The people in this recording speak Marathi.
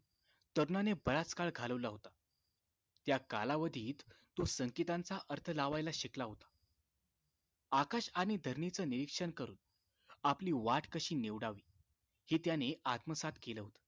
तज्ञाने बराच काळ घालवला होता त्या कालावधीत तो संकेतांचा अर्थ लावायला शिकला होता आकाश आणि धरणीच निरीक्षण करून आपली वाट कशी निवडावी हे त्याने आत्मसात केलं होत